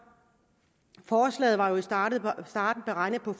forslaget var jo i starten beregnet på at